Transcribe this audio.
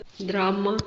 драма